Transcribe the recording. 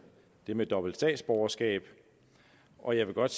det med dobbelt statsborgerskab og jeg vil godt